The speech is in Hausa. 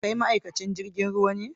Kai ma'aikacin jirigin ruwa ne?